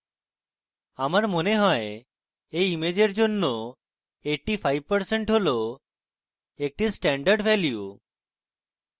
আমার মনে হয় এই ইমেজের জন্য 85% একটি standard value